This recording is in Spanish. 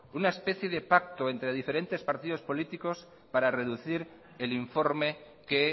una especie de pacto entre diferentes partidos políticos para reducir el informe que